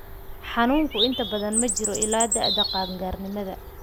Xanuunku inta badan ma jiro ilaa da'da qaan-gaarnimada.